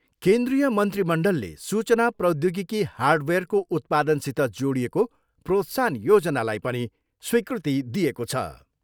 केन्द्रीय मन्त्रीमण्डलले सूचना प्रौद्योगिकी हार्डवेयरको उत्पादनसित जोडिएको प्रोत्साहन योजनालाई पनि स्वीकृति दिएको छ।